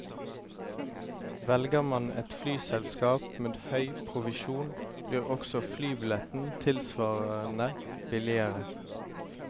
Velger man et flyselskap med høy provisjon, blir også flybilletten tilsvarende billigere.